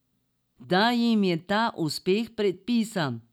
Da jim je ta uspeh predpisan.